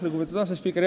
Lugupeetud asespiiker!